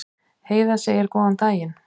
Heiða segir góðan daginn!